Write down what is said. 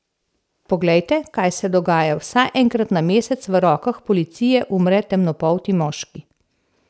Poglejte, kaj se dogaja, vsaj enkrat na mesec v rokah policije umre temnopolti moški.